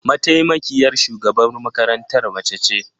Mataimakiyar shugaban makarantar mace ce?